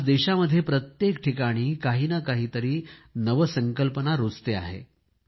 आज देशामध्ये प्रत्येक ठिकाणी काही ना काही तरी नवसंकल्पना रूजते आहे